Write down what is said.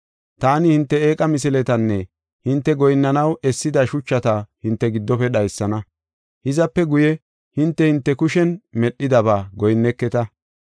Taani hinte eeqa misiletanne hinte goyinnanaw essida shuchata hinte giddofe dhaysana; hizape guye hinte hinte kushen medhidaba goyinneketa.